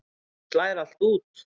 Hún slær allt út.